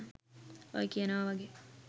ඔය කියනව වගේ